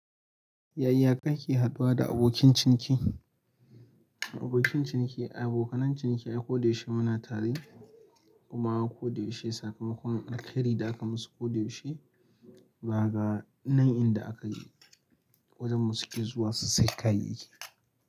Yaya kake haɗuwa da abokin ciniki? Abokin ciniki, abokanan ciniki a' koda yaushe muna tare, kuma koda yaushe sakamakon alheri da aka musu koda yaushe, zaka ga nan inda aka yi, wajen mu suke zuwa su sayi kayayyaki.